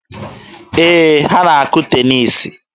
Ee, ha na-akụ teniisi.